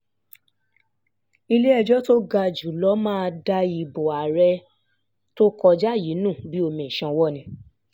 ilé-ẹjọ́ tó ga jù lọ máa da ìbò àárẹ̀ ìbò àárẹ̀ tó kọjá yìí nù bíi omi ìsanwó ni